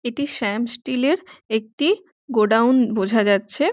এটি শ্যাম স্টিল -এর একটি গোডাউন বোঝা যাচ্ছে।